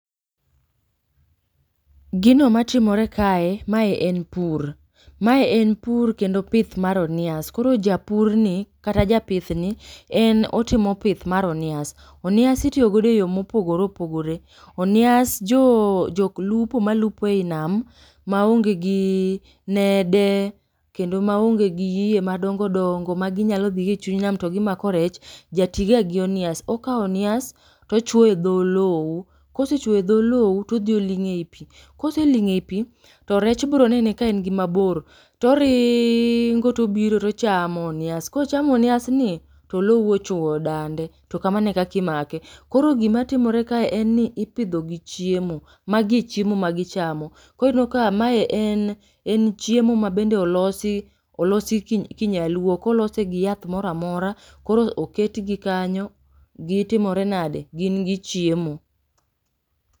Gino matimre kae mae en pur. Mae en pur kendo pith mar onias koro japur ni kata japith ni en otimo pith mar onias. Onias itiyo godo e yo mopogore opogore. Onias jo jok lupo ma lupo ei nam ma onge gi nede, kendo maonge gi yie madongo dongo maginyalo dhi go e chuny nam to gimako rech, ja tiga gi onias, okao onias to ochwo e dho olou, kosechwo e dho oluo to odhi olung'o ei pi. Kose ling'o ei pi, to rech bro nene ka en gi mabor toriiingo tobiro to ochamo onias. Kochamo onias ni to olou ochwo dande to kamano e kaka imake. Koro gima timre kae en ni ipidho gi chiemo, magi e chiemo ma gichamo. Koro ineno ka mae en en chiemo mabende olosi olosi kinyaluo, ok olose gi yath moro amora koro oketgi kanyo, gitimore nade, gin gichiemo.